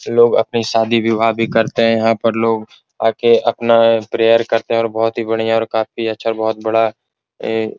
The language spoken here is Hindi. लोग अपनी शादी विवाह भी करते हैं यहाँ पर लोग आके अपना प्रेयर करते हैं और बहोत ही बढ़िया और काफी अच्छा बहोत बड़ा ए --